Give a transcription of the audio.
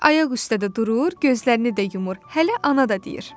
"Ayaq üstə də durur, gözlərini də yumur, hələ ana da deyir."